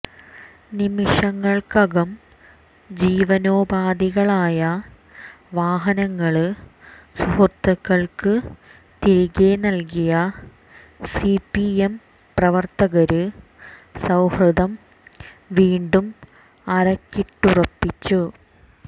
നിമിഷങ്ങള്ക്കകം ജീവനോപാധികളായ വാഹനങ്ങള് സുഹൃത്തുക്കള്ക്ക് തിരികെ നല്കിയ സിപിഎം പ്രവര്ത്തകര് സൌഹൃദം വീണ്ടും അരക്കിട്ടുറപ്പിച്ചു